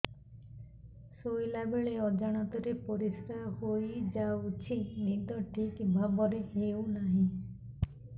ଶୋଇଲା ବେଳେ ଅଜାଣତରେ ପରିସ୍ରା ହୋଇଯାଉଛି ନିଦ ଠିକ ଭାବରେ ହେଉ ନାହିଁ